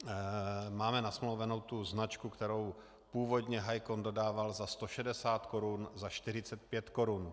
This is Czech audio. Máme nasmlouvanou tu značku, kterou původně Hicon dodával za 160 korun, za 45 korun.